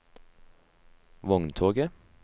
vogntoget